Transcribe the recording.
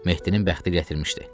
Mehdinin bəxti gətirmişdi.